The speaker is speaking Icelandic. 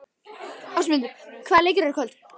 Ásmundur, hvaða leikir eru í kvöld?